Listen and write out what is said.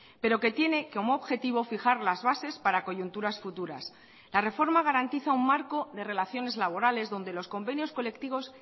pero que tiene como objetivo fijar las bases para coyunturas futuras la reforma garantiza un marco de relaciones laborales donde los convenios colectivos